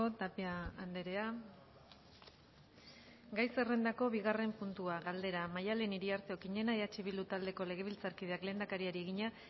tapia andrea gai zerrendako bigarren puntua galdera maddalen iriarte okiñena eh bildu taldeko legebiltzarkideak lehendakariari egina